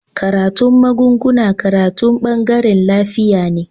Karatun magunguna karatu bangaren lafiya ne